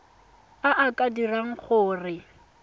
a a ka dirang gore